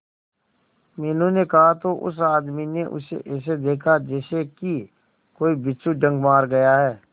मीनू ने कहा तो उस आदमी ने उसे ऐसा देखा जैसे कि कोई बिच्छू डंक मार गया है